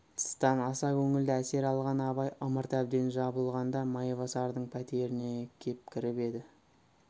тыстан аса көңілді әсер алған абай ымырт әбден жабылғанда майбасардың пәтеріне кеп кіріп еді